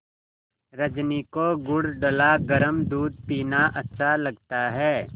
रजनी को गुड़ डला गरम दूध पीना अच्छा लगता है